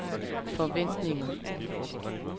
forventninger